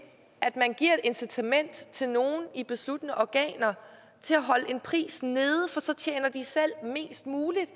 at man giver et incitament til nogen i besluttende organer til at holde en pris nede for så tjener de selv mest muligt